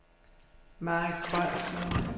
Marit Krøyer